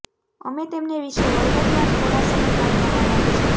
અમે તેમને વિશે વિગતવાર થોડા સમય બાદ માં વર્ણવે છે